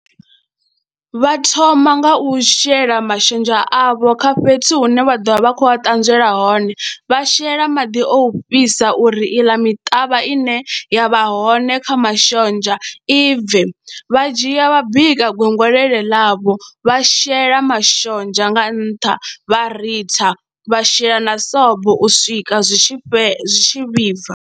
Vha thoma nga u shela mashonzha avho kha fhethu hune vha ḓo vha vha khou a ṱanzielwa hone, vha shela maḓi o fhisa uri iḽa miṱavha ine ya vha hone kha ma mashonzha i bve, vha dzhia vha bika gwengwlele ḽavho, vha shela mashonzha nga nṱha vha ritha, vha shela na sobo u swika zwi tshi fhe, zwi tshi vhibva.